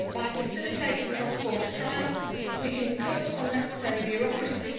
By facilitating cross border trials we can cut unnecessary bureaucracy